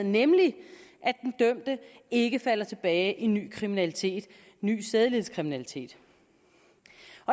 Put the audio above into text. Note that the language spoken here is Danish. nemlig at den dømte ikke falder tilbage i ny kriminalitet i ny sædelighedskriminalitet